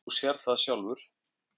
Þú sérð það sjálfur.